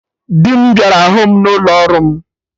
Dị m bịara hụ mụ n'ụlọ ọrụ m